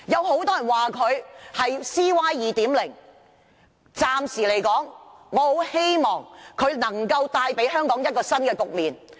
很多人說她是 "CY 2.0"， 但我暫時仍很希望她能夠為香港帶來一個新局面。